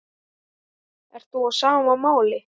Ert þú á sama máli?